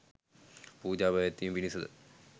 පූජා පැවැත්වීම පිණිසද